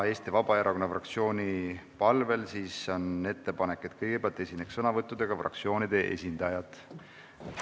Eesti Vabaerakonna fraktsiooni palvel on ettepanek, et kõigepealt esineks sõnavõttudega fraktsioonide esindajad.